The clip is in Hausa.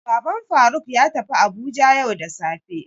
Baban Faruk ya tafi Abuja yau da safe.